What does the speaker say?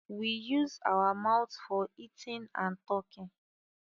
We use our mouth for eating and talking